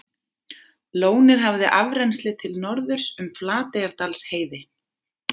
Lónið hafði afrennsli til norðurs um Flateyjardalsheiði.